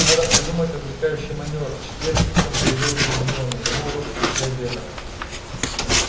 надо придумать отвлекающий манёвр в четверг утром заявила гермиона его урок после обеда